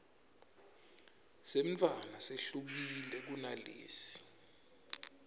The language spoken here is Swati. semntfwana sehlukile kunalesi